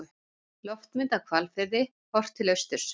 Loftmynd af Hvalfirði, horft til austurs.